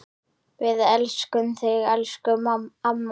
Við elskum þig, elsku amma.